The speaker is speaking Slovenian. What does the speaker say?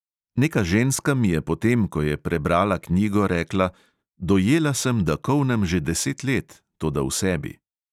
Neka ženska mi je potem, ko je prebrala knjigo, rekla: dojela sem, da kolnem že deset let, toda v sebi.